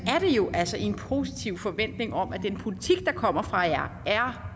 er det jo altså i en positiv forventning om at den politik der kommer fra jer er